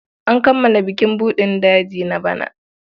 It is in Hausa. An kammala bukin buɗin daji na bana.